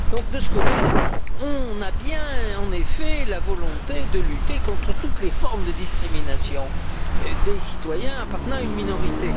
Donc, de ce côté là, on a bien en effet la volonté de lutter contre toutes les formes de discrimination des citoyens appartenant à une minorité.